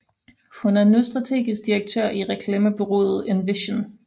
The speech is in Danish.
Hun er nu strategisk direktør i reklamebureauet Envision